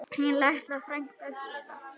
Þín litla frænka Gyða.